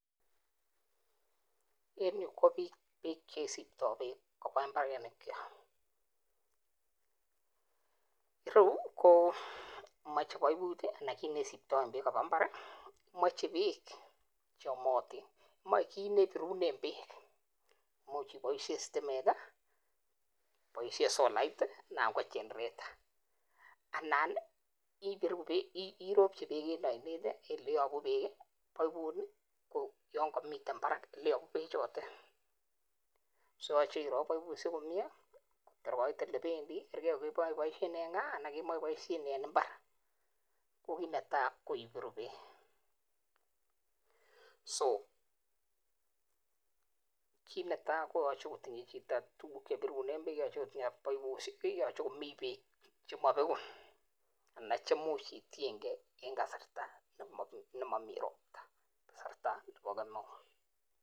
En yu ko biik chesiptoo beek koba mbarenikchwak. Ireu komoche paiput anan kit neisiptoen beek, koba mbar moche beek cheyomotin. Moe kit nebirunen beek, imuch iboishie. sitimet i,iboishien solait anan ko chenereta. Anan iropchi beek en oinet eleyobu beek paiput, koyon komiten barak bechotet. So irop paipusiek komie tor kait elebendi kergei kokeboishien en gaa anan kemoche iboishien en imbar. Ko kit netai ko ibiru beek, so kit netai koyoche kotinye chito tuguk chebirunen beek, yoche kotinye paipusiek. Choye komi beek chemobeguu. Anan cheimuch itiengei en kasarta nemomii ropta. Kasarta nebo kemeut.